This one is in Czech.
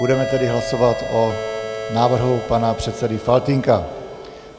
Budeme tedy hlasovat o návrhu pana předsedy Faltýnka.